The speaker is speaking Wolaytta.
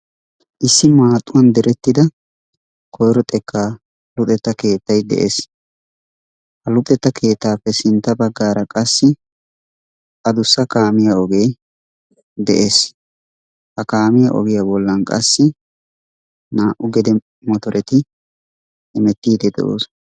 Issi maaxuwan diretida koyro xekkaa luxetta keettay de'ees. Ha luxetta keettaappe sintta baggaara qasi addussa kaamiya ogee de'ees. Ha kaamiya ogiya bolla qassi naa"u gede motoretti hemetiidi de'oosona.